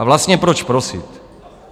A vlastně proč prosit?